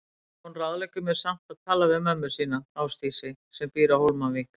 Jón ráðleggur mér samt að tala við mömmu sína, Ásdísi, sem býr á Hólmavík.